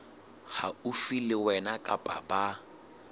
haufi le wena kapa ba